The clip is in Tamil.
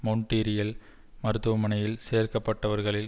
மொன்ட்ரீயல் மருத்துவமனையில் சேர்க்கப்பட்டவர்களில்